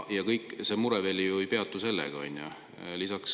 Ja need mured ei ju sellega.